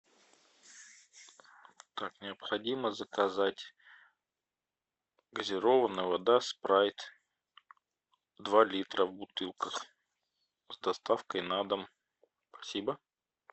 так необходимо заказать газированная вода спрайт два литра в бутылках с доставкой на дом спасибо